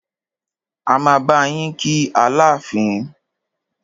A máa bá yín kí Aláàfin.